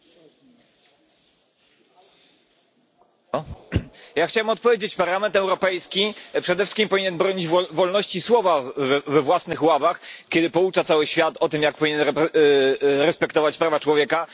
Pani Przewodnicząca! Ja chciałbym odpowiedzieć. Parlament Europejski przede wszystkim powinien bronić wolności słowa we własnych ławach, kiedy poucza cały świat o tym, jak powinien respektować prawa człowieka.